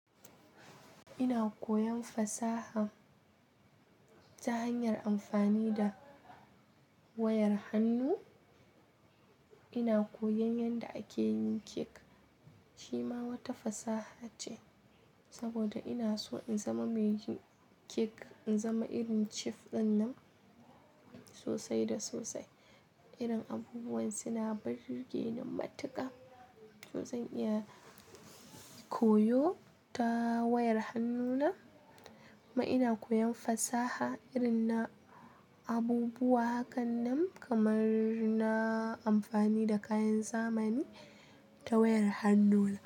Ina koyan fasaha ta hanyar amfani da wayar hannu. Ina koyan yadda ake yin cake. Shi ma wata fasaha ce saboda ina so in zama mai yin cake, in zama irin chef dinnan sosai da sosai. Irin abubuwan suna burgeni matuƙa. To zan iya koyo ta wayar hannuna. Kuma ina koyan fasaha irin na abubuwa hakanan kamar na amfani da kayan zamani ta wayar hannuna.